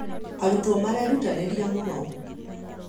arutwo marerutanĩria mũno